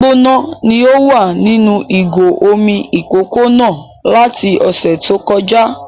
Omi gbígbóná ni o wà nínú ìgò omi ìkókó náà láti ọ̀sẹ̀ tó kọjá